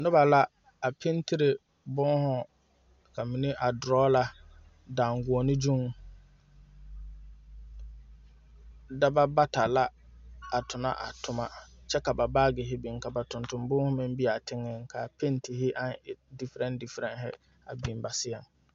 Nobɔ la a pentire bonhu ka mine meŋ a drɔla daŋguone gyuŋ daba bata la a tonɔ a tomma kyɛ ka ba baagihi biŋvka ba tonton bonhu meŋ be aa teŋɛŋ kaa pentihi aŋ w difrɛn difrɛn a biŋ ba seɛŋ.